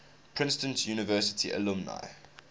princeton university alumni